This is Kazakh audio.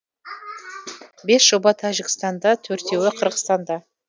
бес жоба тәжікстанда төртеуі қырғызстанда